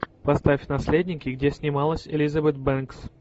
поставь наследники где снималась элизабет бэнкс